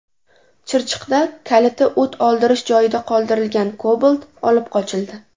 Chirchiqda kaliti o‘t oldirish joyida qoldirilgan Cobalt olib qochildi .